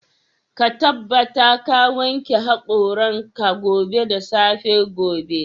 Ka tabbata ka wanke haƙoran ka gobe da safe gobe.